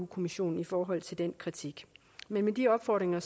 kommissionen i forhold til den kritik men med de opfordringer